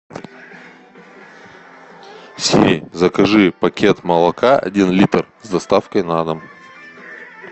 сири закажи пакет молока один литр с доставкой на дом